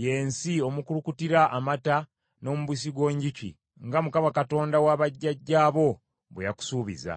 y’ensi omukulukutira amata n’omubisi gw’enjuki, nga Mukama Katonda wa bajjajjaabo bwe yakusuubiza.